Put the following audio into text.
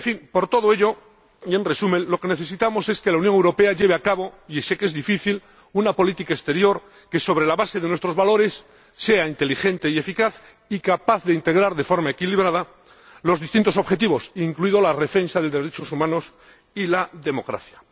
Por todo ello y en resumen, lo que necesitamos es que la Unión Europea lleve a cabo —y sé que es difícil— una política exterior que, sobre la base de nuestros valores, sea inteligente y eficaz, así como capaz de integrar de forma equilibrada los distintos objetivos, incluida la defensa de los derechos humanos y la democracia.